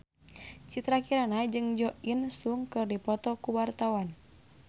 Citra Kirana jeung Jo In Sung keur dipoto ku wartawan